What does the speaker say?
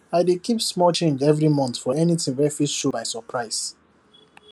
i dey keep small change every month for anything wey fit show by surprise